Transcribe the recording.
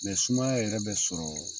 Ne Sumaya yɛrɛ bɛ sɔrɔ.